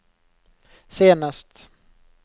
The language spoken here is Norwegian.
senest